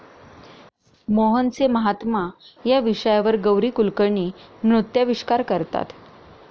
मोहनसे महात्मा' या विषयावर गौरी कुलकर्णी नृत्याविष्कार करतात.